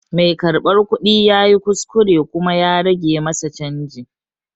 Mai karɓar kuɗi ya yi kuskure kuma ya rage masa canji.